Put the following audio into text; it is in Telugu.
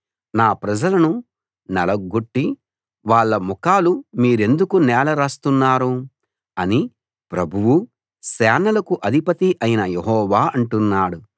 నా ప్రజలను నలగ్గొట్టి వాళ్ళ ముఖాలు మీరెందుకు నేల రాస్తున్నారు అని ప్రభువూ సేనలకు అధిపతీ అయిన యెహోవా అంటున్నాడు